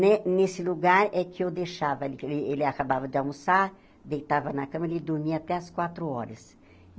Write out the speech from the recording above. Né nesse lugar é que eu deixava, êh ele acabava de almoçar, deitava na cama, ele dormia até as quatro horas.